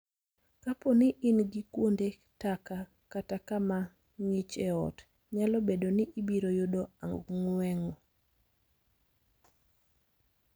Kapo ni in gi kuonde taka kata kama ng�ich e ot, nyalo bedo ni ibiro yudo ang'weng'o.